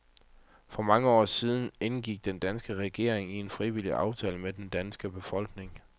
For mange år siden indgik den danske regering en frivillig aftale med den danske befolkning.